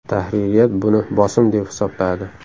Tahririyat buni bosim deb hisobladi.